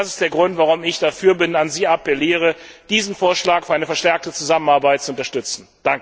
Das ist der Grund, warum ich dafür bin und an Sie appelliere, diesen Vorschlag für eine verstärkte Zusammenarbeit zu unterstützen!